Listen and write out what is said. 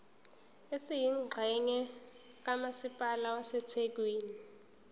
esiyingxenye kamasipala wasethekwini